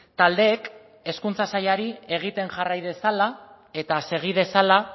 taldeek hezkuntza sailari egiten jarrai dezala eta segi dezala